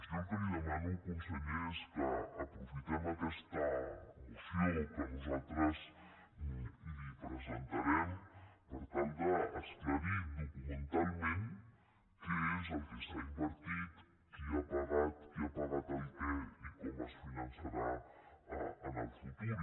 jo el que li demano conseller és que aprofitem aquesta moció que nosaltres li presentarem per tal d’esclarir documentalment què és el que s’ha invertit qui ha pagat qui ha pagat el què i com es finançarà en el futur